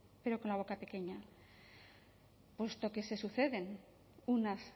pero con la boca pequeña puesto que se suceden unas